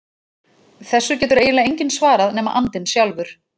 Þessu getur eiginlega enginn svarað nema andinn sjálfur.